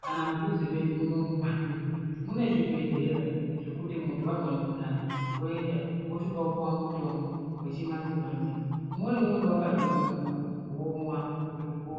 kana mudhuze medu munomu mumatuntu mune zvibhehlera dzekuti muntu wanzwa mukhuhlani woenda wosvika wopuwa mutombo wechimanje-manje umweni unenge wakatonyorwa womwa kuti upone.